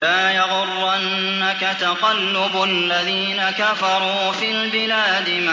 لَا يَغُرَّنَّكَ تَقَلُّبُ الَّذِينَ كَفَرُوا فِي الْبِلَادِ